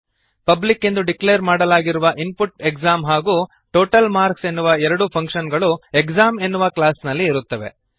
public ಎಂದು declare ಮಾಡಲಾಗಿರುವ input exam ಹಾಗೂ ಟೋಟಲ್ ಮಾರ್ಕ್ಸ್ ಎನ್ನುವ ಎರಡು ಫಂಕ್ಶನ್ ಗಳು ಎಕ್ಸಾಮ್ ಎನ್ನುವ ಕ್ಲಾಸ್ ನಲ್ಲಿ ಇರುತ್ತವೆ